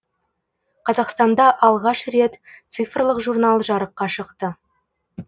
қазақстанда алғаш рет цифрлық журнал жарыққа шықты